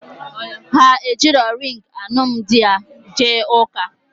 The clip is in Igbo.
Ha ejirọ ringị alụmdi ha jee ụka